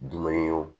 Dumune wo